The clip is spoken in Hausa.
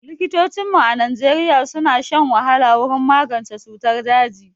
Likitocinmu a Najeriya suna shan wahala wurin magance cutar daji